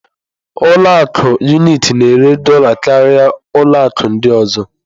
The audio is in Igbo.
Ụlọ akụ Unitị na-ere dola karịa ụlọ akụ ọ ndị ọzọ.